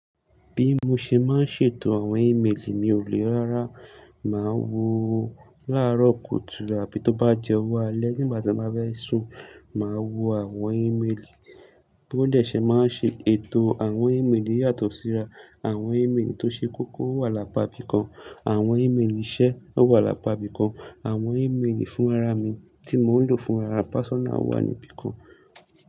Bí mo ṣe máa ń ṣètò àwọn ímeèlì mi ò lè rárá. Màá wo láàárọ̀ kùtù àbí tó bá jẹ ọwọ́ alẹ́ nígbà tí mo bá fẹ́ sùn, màá wo àwọn ímeèlì. Bí wọn dẹ ṣe màá ṣe ètò àwọn ímeèlì yàtọ̀ síra. Àwọn ímeèlì tó ṣe kókó wà lápá ibí kan, àwọn ímeèlì iṣẹ́ o wà lápá ibí kan, àwọn ímeèlì fún ara mi tí mò ń lò fún ara pásọ́nà wà ní ibí kan.